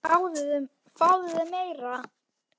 Fáðu þér meira!